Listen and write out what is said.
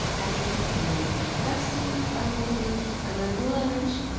а ещё такой есть а всё а опоздно уже а надо было раньше